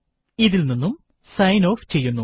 ഇത് ഇൽ നിന്നും സൈൻ ഓഫ് ചെയ്യുന്നു